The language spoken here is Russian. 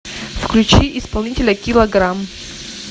включи исполнителя киллаграм